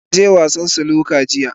Na je wasa Snooker jiya.